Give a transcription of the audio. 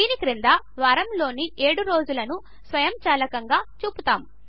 దీని క్రింద వారములోని ఏడు రోజులను స్వయంచాలకంగా చూపుతాము